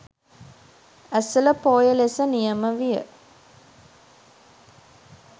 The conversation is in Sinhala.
ඇසළ පෝය ලෙස නියම විය